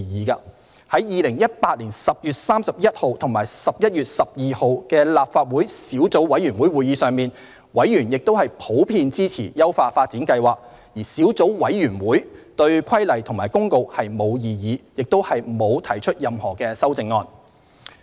於2018年10月31日及11月12日的立法會小組委員會會議上，委員亦普遍支持優化發展計劃，小組委員會對《規例》及《公告》並無異議，亦不會提出任何修正案。